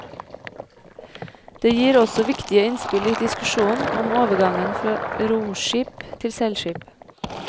Det gir også viktige innspill i diskusjonen om overgangen fra roskip til seilskip.